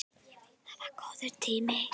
Það er góður tími.